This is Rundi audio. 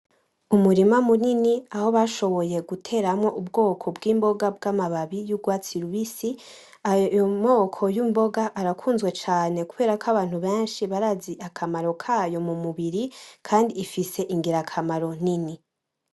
Umurima munini uteyemwo ubwoko bw'imbonga z'amababi y'urwatsi rubisi ayo moko y'imboga arakuzwe cane kuko abantu benshi barazi akamaro kayo mumubiri kandi ifise igirakamaro nini.